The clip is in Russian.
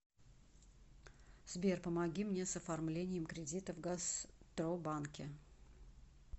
сбер помоги мне с оформлением кредита в гастробанке